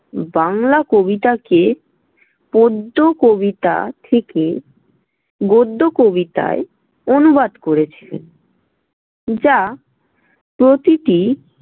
বাংলা কবিতাকে পদ্য কবিতা থেকে গদ্য কবিতায় অনুবাদ করেছিলেন, যা প্রতিটি।